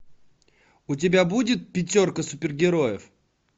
у тебя будет пятерка супергероев